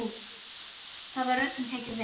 Þar var öllum tekið vel.